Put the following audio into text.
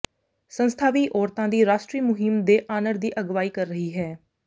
ਸੰਸਥਾ ਵੀ ਔਰਤਾਂ ਦੀ ਰਾਸ਼ਟਰੀ ਮੁਹਿੰਮ ਦੇ ਆਨਰ ਦੀ ਅਗਵਾਈ ਕਰ ਰਹੀ ਹੈ